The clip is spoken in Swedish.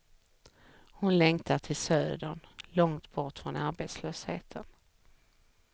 Hon längtar till södern, långt bort från arbetslösheten.